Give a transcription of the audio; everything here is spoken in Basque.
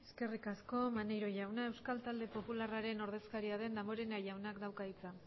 eskerrik asko maneiro jauna euskal talde popularraren ordezkaria den damborenea jaunak dauka hitza